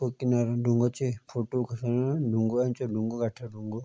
उक्खि म्यारा ढुंगा चि फुटटू खिचवौण ढुंगा ऐंचे ढुंगो कठ्या ढुंगो।